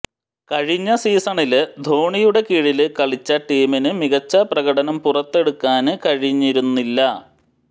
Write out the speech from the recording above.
കഴിഞ്ഞ സീസണില് ധോണിയുടെ കീഴില് കളിച്ച ടീമിന് മികച്ച പ്രകടനം പുറത്തെടുക്കാന് കഴിഞ്ഞിരുന്നില്ല